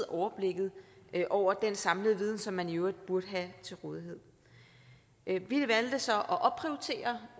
overblikket over den samlede viden som man i øvrigt burde have til rådighed vi valgte så